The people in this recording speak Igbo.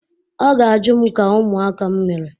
Ọ ga-ajụ m ka ụmụaka m mere.